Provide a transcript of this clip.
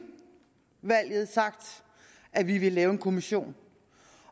valget at vi ville lave en kommission